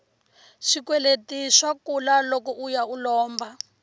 swikweleti swa kula loko uya u lomba